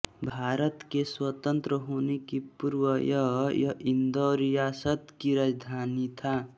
भारत के स्वतन्त्र होने के पूर्व यह यह इन्दौर रियासत की राजधानी था